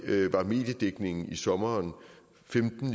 var mediedækningen i sommeren